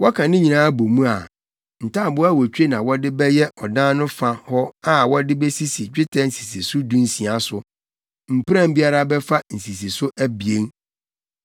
Wɔka ne nyinaa bɔ mu a, ntaaboo awotwe na wɔde bɛyɛ ɔdan no fa hɔ a wɔde besisi dwetɛ nsisiso dunsia so. Mpuran biara bɛfa nsisiso abien.